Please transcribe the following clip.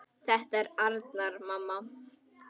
Þetta er Arnar, mamma!